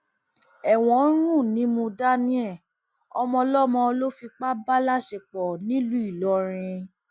ẹwọn ń rùn nímú daniel ọmọọlọmọ ló fipá bá láṣepọ nílùú ìlọrin